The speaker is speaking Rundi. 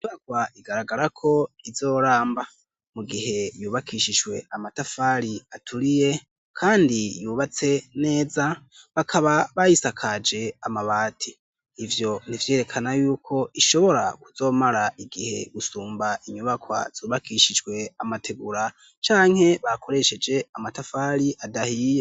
Inyubakwa igaragara ko izoramba mu gihe yubakishijwe amatafari aturiye kandi yubatse neza bakaba bayisakaje amabati ivyo nivyerekana yuko ishobora kuzomara igihe gusumba inyubakwa zubakishijwe amategura canke bakoresheje amatafari adahiye.